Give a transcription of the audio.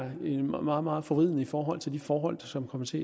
meget meget forvridende i forhold til de forhold som kommer til